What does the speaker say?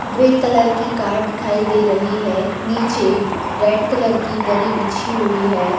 Grey colour की card दिखाई दे रही हैं। नीचे रेड कलर की दरी बिछी हुई हैं।